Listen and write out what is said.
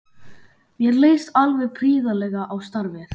Mér leist alveg prýðilega á starfið.